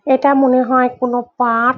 এটা মনে হয় কোনো পাক ।